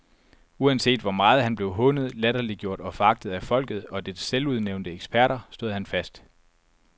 Uanset hvor meget han blev hånet, latterliggjort og foragtet af folket og dets selvudnævnte eksperter, stod han fast.